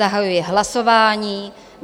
Zahajuji hlasování.